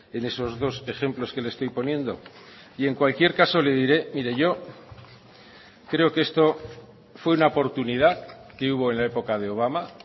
en esos dos ejemplos que le estoy poniendo y en cualquier caso le diré mire yo creo que esto fue una oportunidad que hubo en la época de obama